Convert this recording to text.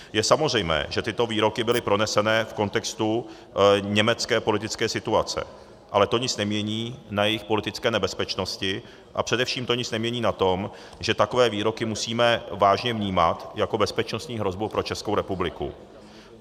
Je samozřejmé, že tyto výroky byly proneseny v kontextu německé politické situace, ale to nic nemění na jejich politické nebezpečnosti a především to nic nemění na tom, že takové výroky musíme vážně vnímat jako bezpečnostní hrozbu pro Českou republiku.